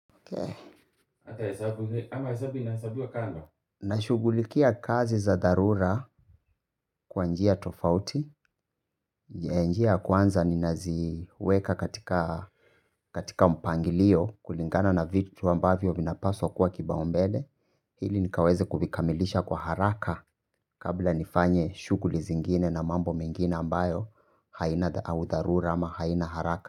Na shugulikia kazi za dharura. Kwa njia tofauti. Njia njia kwanza ninaziweka katika katika mpangilio kulingana na vitu ambavyo vinapaswa kwa kipa umbele. Hili nikaweze kuvikamilisha kwa haraka. Kabla nifanye shuguli zingine na mambo mengine ambayo haina au dharura ama haina haraka.